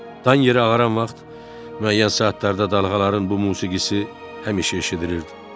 Dan yeri ağarmaq vaxtı müəyyən saatlarda dalğaların bu musiqisi həmişə eşidilirdi.